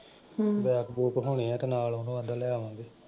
ਹਮ bag ਬੂਗ ਹੋਣੇ ਆ ਤੇ ਨਾਲ ਉਹਨੂੰ ਆਂਹਦਾ ਲੈ ਆਵਾਂਗੇ।